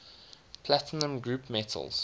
platinum group metals